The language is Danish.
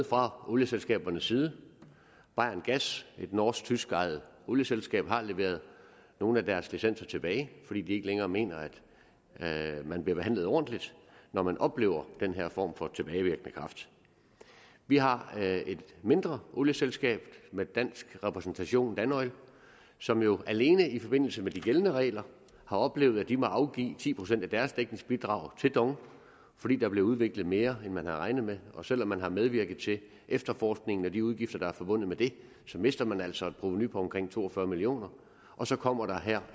fra olieselskabernes side bayerngas et norsk tysk ejet olieselskab har leveret nogle af deres licenser tilbage fordi de ikke længere mener at man bliver behandlet ordentligt når man oplever den her form for tilbagevirkende kraft vi har et mindre olieselskab med dansk repræsentation dan oil som jo alene i forbindelse med de gældende regler har oplevet at de må afgive ti procent af deres dækningsbidrag til dong fordi der blev udviklet mere end man havde regnet med og selv om man har medvirket til efterforskningen med de udgifter der er forbundet med det mister man altså et provenu på omkring to og fyrre million kr og så kommer der her